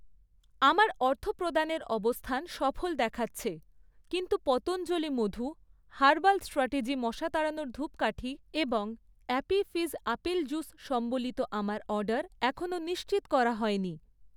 আমার অর্থপ্রদানের অবস্থান সফল দেখাচ্ছে, কিন্তু পতঞ্জলি মধু, হার্বাল স্ট্র্যাটেজি মশা তাড়ানোর ধূপকাঠি এবং অ্যাপি ফিজ আপেল জুস সম্বলিত আমার অর্ডার এখনও নিশ্চিত করা হয়নি।